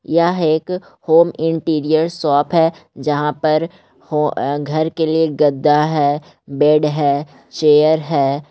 यह एक home interior shop है जहाँ पर ह घर के लिए गद्दा है बेड है चेयर है ।